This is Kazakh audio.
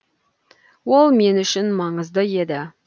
ол мен үшін маңызды еді